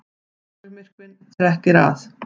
Tunglmyrkvinn trekkir að